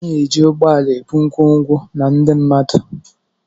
A na-eji ụgbọ ala ebu ngwongwo na ndị mmadụ.